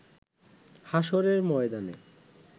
হাশরের ময়দানে